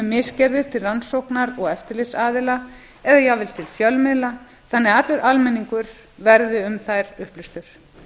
misgerðir til rannsóknar og eftirlitsaðila eða jafnvel til fjölmiðla þannig að allur almenningur verði um þær upplýstur